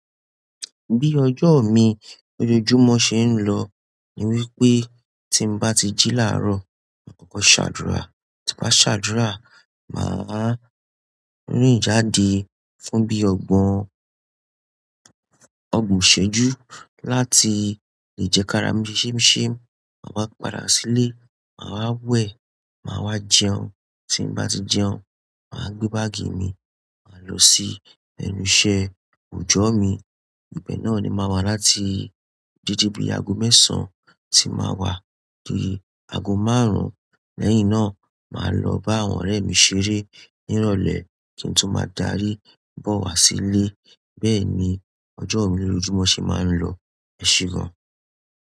Bí ọjọ́ mi lójoojúmọ́ ṣe ń lọ ni wípé tí n bá ti jí láàrọ̀, ma kọ́kọ́ ṣàdúrà, tí bá ṣàdúrà, màá rìn jáde fún bí ọgbọ̀n, ọgbọ̀n ṣẹ́jú láti lè jẹ kára mi ṣẹ́ ṣemu ṣemu. Màá wá padà sílé, màá wa wẹ̀, màá wá jẹun, tí n bá ti jẹun, màá gbé báàgì mi, máa lọ sí ẹnùṣẹ̀ oojo mi. Ibè náà ni màá wá láti dédé bí aago mẹ́sàn-án tí màá wá di aago márùn-ún. Lẹ́yìn náà má lọ ba àwọn ọrẹ mi ṣeré ni ìrọ̀lẹ́ kin to ma da rí bó wà sí lè. Bẹ́ẹ̀ ni ọjọ́ mi lójoojúmọ́ ṣe máa ń lọ, ẹsẹ gan.